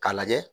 K'a lajɛ